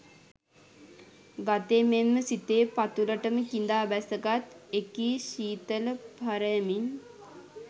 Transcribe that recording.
ගතේ මෙන්ම සිතේ පතුලටම කිඳා බැසගත් එකී ශීතල පරයමින්